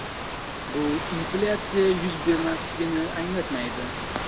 Bu inflyatsiya yuz bermasligini anglatmaydi.